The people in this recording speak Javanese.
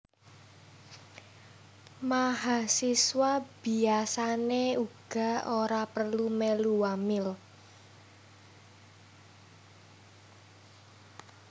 Mahasiswa biasané uga ora perlu mèlu wamil